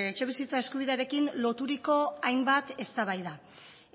etxebizitza eskubidearekin loturiko hainbat eztabaida